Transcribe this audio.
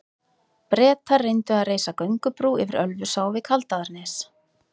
Bretar reyndu að reisa göngubrú yfir Ölfusá við Kaldaðarnes.